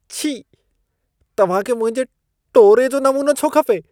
छी! तव्हां खे मुंहिंजे टोरे जो नमूनो छो खपे?